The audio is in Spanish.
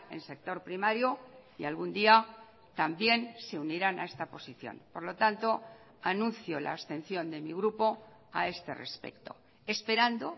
en sector primario y algún día también se unirán a esta posición por lo tanto anuncio la abstención de mi grupo a este respecto esperando